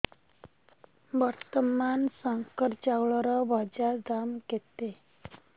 ବର୍ତ୍ତମାନ ଶଙ୍କର ଚାଉଳର ବଜାର ଦାମ୍ କେତେ